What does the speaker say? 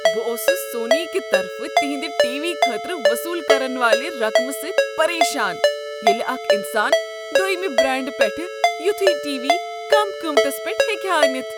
بہٕ اوسُس سونی کِہ طرفہٕ تِہندِ ٹی۔ وی خٲطرٕ وصول کرنہٕ والِہ رقمہٕ سۭتۍ پریشان ییلِہ اکھ انسان دوٚیمِہ برینڈٕ پیٹھ یوتھُے ٹی۔ وی کم قیمتس پیٹھ ہیکِہ ہا أنِتھ ۔